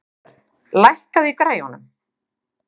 Friðbjörn, lækkaðu í græjunum.